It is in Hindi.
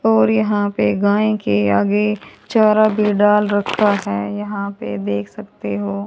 और यहां पे गाय के आगे चारा भी डाल रखा है यहां पे देख सकते हो।